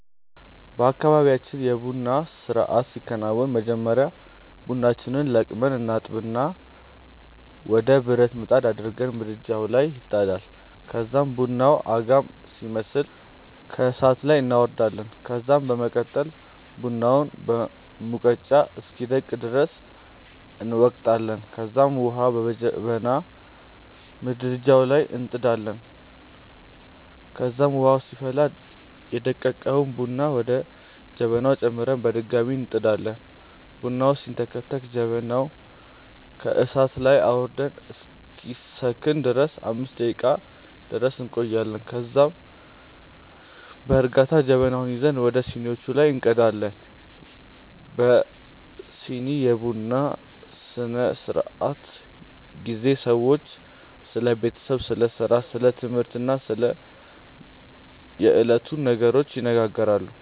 በአካባብያችን የ ቡና ስርአት ሲከናወን በመጀመሪያ ቡናችንን ለቅመን እናጥብና ወደ ብረት ምጣድ አድርገን ምድጃዉ ላይ ይጣዳል ከዛም ቡናዉ አጋም ሲመስል ከእሳት ላይ እናወርዳለን ከዛም በመቀጠል ቡናውን በሙቀጫ እስኪደቅ ድረስ እንወቅጣለንከዛም ዉሀ በጀበና ምድጃዉ ላይ እንጥዳለን ከዛም ዉሀዉ ሲፈላ ደቀቀዉን ቡና ወደ ጀበናዉ ጨምረን በድጋሚ እንጥዳለን። ቡናዉ ሲንተከተክ ጀበናዉን ከእሳት ላይ አዉርደን እስኪሰክን ድረስ 5 ደቄቃ ድረስ እንቆያለን ከዛም ከዛ በእርጋታ ጀበናዉን ይዘን ወደ ሲኒዋቹ ላይ እንቀዳለን። በዚህ የቡና ስነስርዓት ጊዜ ሰዎች ስለ ቤተሰብ፣ ስለ ስራ፣ ስለ ትምህርት እና ስለ የዕለቱ ነገሮች ይነጋገራሉ።